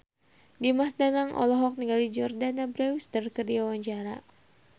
Dimas Danang olohok ningali Jordana Brewster keur diwawancara